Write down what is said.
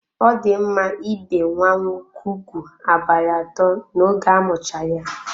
Ọ di mma ibe nwa nwoke ụgwụ abalị atọ n'oge amucha ya.